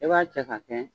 I b'a cɛ ka kɛ